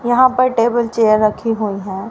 यहां पर table chair रखी हुई हैं।